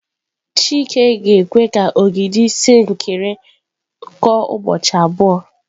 Chike ga-ekwe ka ogidi sinkịrị tọọ ụbọchị abụọ.